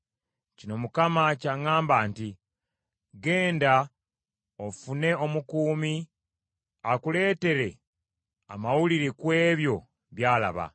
Kino Mukama ky’aŋŋamba nti, “Genda ofune omukuumi akuleetere amawulire ku ebyo by’alaba.